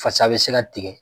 Fasa bɛ se ka tigɛ.